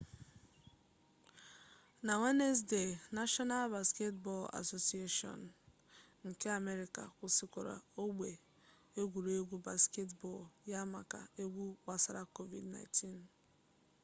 na wenezdee nashọnal basketbọl asosieshọn nba nke amerịka kwụsịrị ogbe egwuregwu basketbọl ya maka egwu gbasara covid-19